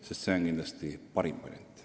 See on kindlasti parim variant.